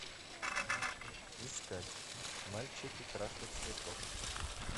искать мальчики краше цветов